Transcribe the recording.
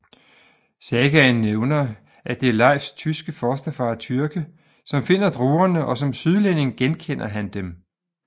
Sagaen nævner at det er Leifs tyske fosterfar Tyrke som finder druerne og som sydlænding genkender han dem